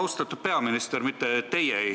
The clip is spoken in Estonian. Austatud peaminister!